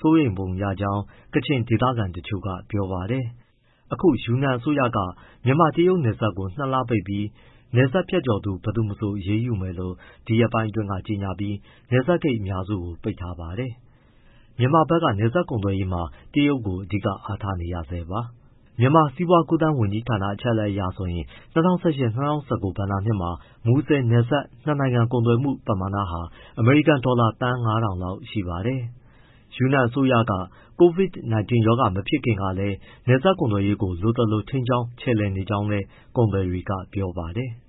စိုးရိမ်ပုံရကြောင်း ကချင်ဒေသခံတချို့ကပြောပါတယ်။ အခု ယူနန်အစိုးရက မြန်မာ- တရုတ်နယ်စပ်ကို ၂လပိတ်ပြီး၊ နယ်စပ်ဖြတ်ကျော်သူ ဘယ်သူမဆို အရေးယူမယ်လို့ ဒီရက်ပိုင်းအတွင်းက ကြေညာပြီး နယ်စပ်ဂိတ် အများစုကို ပိတ်ထားပါတယ်။ မြန်မာနိုင်ငံက နယ်စပ်ကုန်သွယ်ရေးမှာ တရုတ်ကို အဓိကအားထားနေရဆဲပါ။ မြန်မာစီးပွားကူးသန်း ဝန်ကြီးဌာန အချက်အလက်အရဆိုရင် ၂၀၁၈- ၂၀၁၉ ဘဏ္ဍာနှစ်မှာ မူဆယ်နယ်စပ် နှစ်နိုင်ငံကုန်သွယ်မှုပမာဏက အမေရိကန်ဒေါ်လာ သန်း ၅၀၀၀ လောက်ရှိပါတယ်။ ယူနန်အစိုးရက COVID-19 မဖြစ်ခင်ကလည်း နယ်စပ်ကုန်သွယ်ရေးကို လိုသလို ထိန်းကြောင်း ချယ်လှယ်နေကြောင်းလည်း ကုန်သည်တွေက ပြောပါတယ်။